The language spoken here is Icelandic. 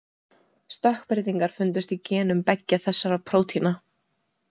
Stökkbreytingar fundust í genum beggja þessara prótína.